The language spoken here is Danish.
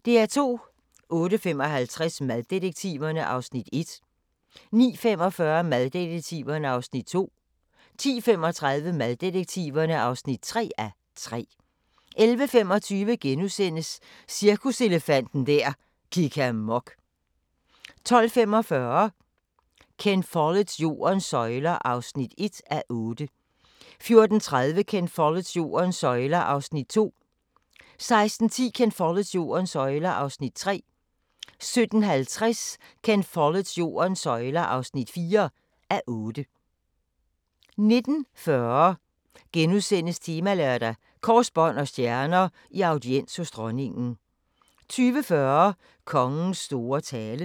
08:55: Maddetektiverne (1:3) 09:45: Maddetektiverne (2:3) 10:35: Maddetektiverne (3:3) 11:25: Cirkuselefanten der gik amok * 12:45: Ken Folletts Jordens søjler (1:8) 14:30: Ken Folletts Jordens søjler (2:8) 16:10: Ken Folletts Jordens søjler (3:8) 17:50: Ken Folletts Jordens søjler (4:8) 19:40: Temalørdag: Kors, bånd og stjerner – i audiens hos dronningen * 20:40: Kongens store tale